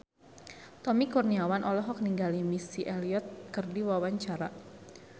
Tommy Kurniawan olohok ningali Missy Elliott keur diwawancara